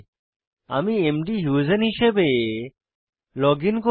আমি মধুসেইন হিসাবে লগইন করব